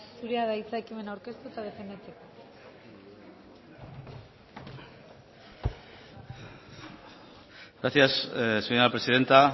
zurea da hitza ekimena aurkeztu eta defendatzeko gracias señora presidenta